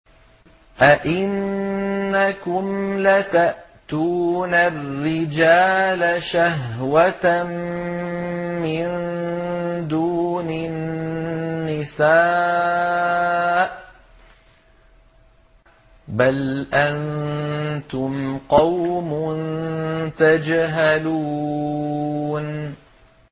أَئِنَّكُمْ لَتَأْتُونَ الرِّجَالَ شَهْوَةً مِّن دُونِ النِّسَاءِ ۚ بَلْ أَنتُمْ قَوْمٌ تَجْهَلُونَ